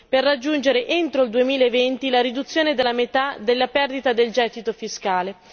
per raggiungere entro il 2020 la riduzione della metà della perdita del gettito fiscale.